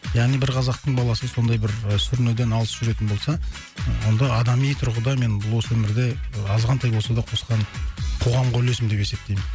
яғни бір қазақтың баласы сондай бір сүрінуден алыс жүретін болса ы онда адами тұрғыда мен осы өмірде азғантай болса да қосқан қоғамға үлесім деп есептеймін